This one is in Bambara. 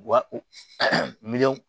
Wa u miliyɔn